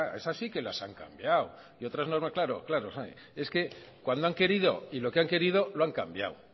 esas sí que las han cambiado claro claro es que cuando han querido y lo que han querido lo han cambiado